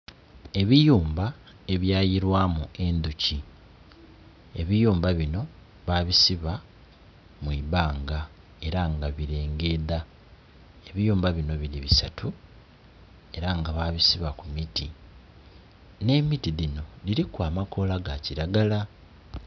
Ebiyumba ebwa yilwamu endhuki, ebiyumba bino babisiba mwibanga era nga birengedha, ebiyumba bino biri biasatu era nga babisiba ku miti ne miti dhino dhiriku amakola ga kilagala.